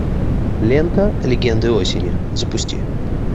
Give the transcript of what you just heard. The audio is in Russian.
лента легенды осени запусти